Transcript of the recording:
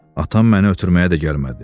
Atam mənə ötürməyə də gəlmədi.